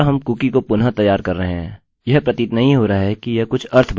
यह नहीं प्रतीत नहीं हो रहा है कि यह कुछ अर्थ बना रहा है किन्तु यह शीघ्र ही करेगा